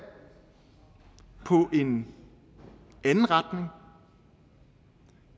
på en anden retning